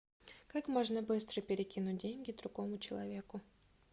как можно быстро перекинуть деньги другому человеку